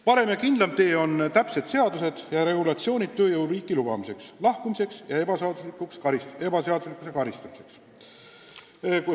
Parem ja kindlam tee on täpsed seadused ja muud regulatsioonid tööjõu riiki lubamiseks, inimeste siit lahkumiseks ja seaduse rikkumise eest karistamiseks.